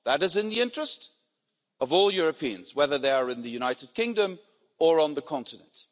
That is in the interest of all Europeans, whether they are in the United Kingdom or on the continent.